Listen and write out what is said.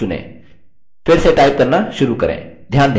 फिर से टाइप करना शुरू करें